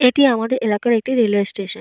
এটি আমাদের এলাকার একটি রেলওয়ে স্টেশন ।